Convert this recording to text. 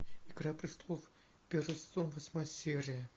игра престолов первый сезон восьмая серия